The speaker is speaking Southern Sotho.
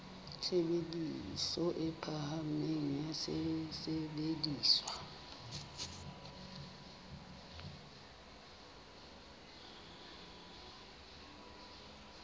tshebediso e phahameng ya sesebediswa